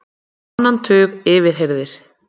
Á annan tug yfirheyrðir